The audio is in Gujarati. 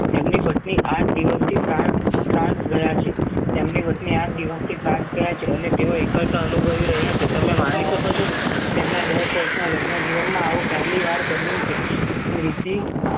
એમની પત્ની આઠ દિવસથી france ગયા છે તેમની પત્ની આંઠ દિવસ થી france ગયા છે અને તેઓ એકલતા અનુભવી રહ્યા છે. તમે માની શકો છો તેમના દસ વર્ષના લગ્ન જીવનમાં આવું પહેલીવાર બન્યું છે